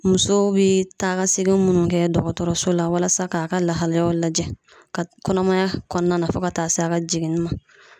Musow be taa ka segin munnu kɛ dɔgɔtɔrɔso la walasa k'a ka lahalaya lajɛ ka kɔnɔmaya kɔnɔna na fɔ ka taa s'a ka jiginni ma